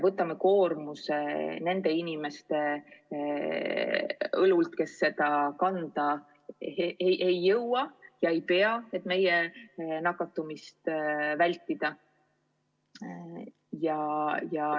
Võtame koormuse nende inimeste õlult, kes seda kanda ei jõua ja kandma ei pea, et meie nakatumist vältida!